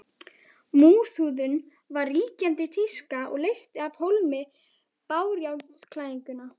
Múrhúðun var ríkjandi tíska og leysti af hólmi bárujárnsklæðningu.